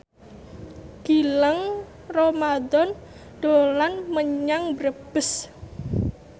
Gilang Ramadan dolan menyang Brebes